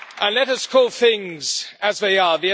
Let us call things as they are.